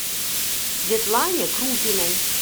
светлане крупиной